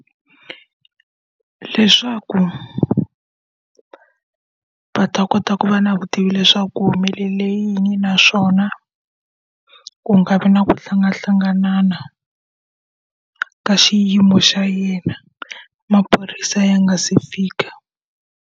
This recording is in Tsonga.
Leswaku va ta kota ku va na vutivi leswaku ku humelele yini naswona, ku nga vi na ku hlanganahlangana na ka xiyimo xa yena maphorisa ya nga se fika.